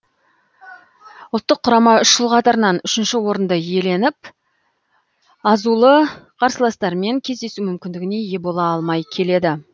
ұлттық құрама үш жыл қатарынан үшінші орынды иеленіп азулы қарсыластармен кездесу мүмкіндігіне ие бола алмай келеді